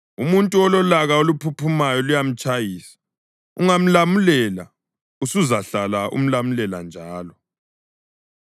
Umuntu ololaka oluphuphumayo luyamtshayisa, ungamlamulela, usuzahlala umlamulela njalo.